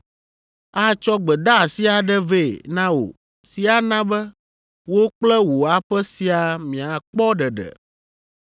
Atsɔ gbedeasi aɖe vɛ na wò si ana be wò kple wò aƒe siaa miakpɔ ɖeɖe.’